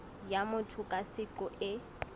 ya motho ka seqo e